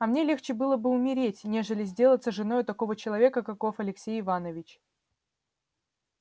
а мне легче было бы умереть нежели сделаться женою такого человека каков алексей иванович